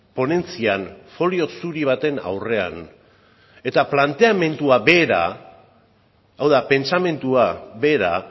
ponentzian folio zuri baten aurrean eta planteamendua bera hau da pentsamendua bera